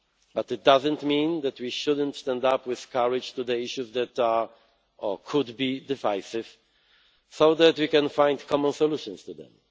But it does not mean that we should not stand up with courage to the issues that are or could be divisive so that we can find common solutions to them.